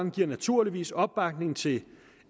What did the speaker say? giver naturligvis opbakning til